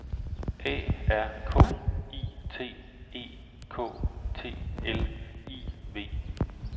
A R K I T E K T L I V